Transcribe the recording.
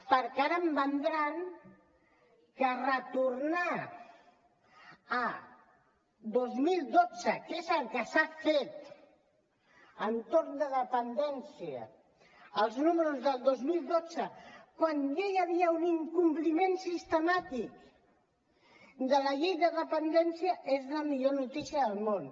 perquè ara em vendran que retornar al dos mil dotze que és el que s’ha fet en l’entorn de la dependència als números del dos mil dotze quan ja hi havia un incompliment sistemàtic de la llei de dependència és la millor notícia del món